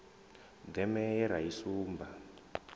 deme ye ra i sumba